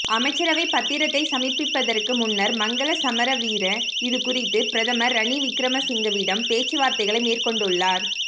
அமைச்சரவை பத்திரத்தை சமர்ப்பிப்பதற்கு முன்னர் மங்களசமரவீர இது குறித்து பிரதமர் ரணில்விக்கிரமசிங்கவிடம் பேச்சுவார்த்தைகளை மேற்கொண்டுள்ளார்